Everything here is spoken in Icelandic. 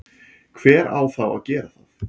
hver á þá að gera það?